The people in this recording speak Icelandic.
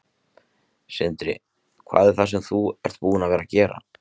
Sindri: Hvað er það sem þú ert búin að vera að gera?